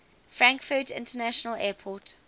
frankfurt international airport